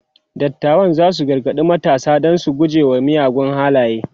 dattawan zasu gargaɗi matasa da su guje wa miyagun halaye